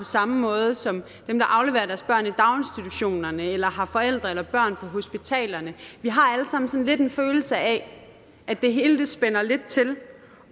samme måde som dem der afleverer deres børn i daginstitutionerne eller har forældre eller børn på hospitalerne vi har alle sammen sådan lidt en følelse af at det hele spænder lidt til